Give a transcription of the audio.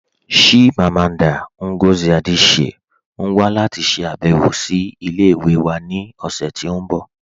Chimamanda Ngozi Adichie n wà láti ṣàbẹ̀wọ̀ sí ilẹ̀-ìwẹ̀ wà ni ọṣẹ̀ tí n bọ